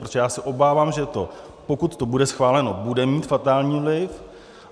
Protože já se obávám, že to, pokud to bude schváleno, bude mít fatální vliv.